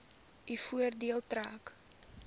u voordeel trek